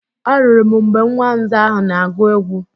Anụrụ m mgbe nwa nza ahụ na-agụ egwu